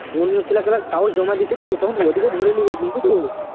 অন্য ছেলেগুলো কাগজ জমা দিয়েছে তো তখন ওদেরকে ভোরে নেবে বুঝলি তো